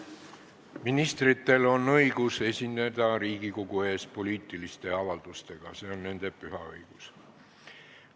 Ministritel on õigus esineda Riigikogu ees poliitilise avaldusega, see on nende püha õigus.